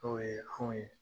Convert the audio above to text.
Tɔw yee anw ye